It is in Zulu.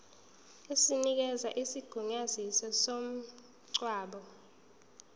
esinikeza isigunyaziso somngcwabo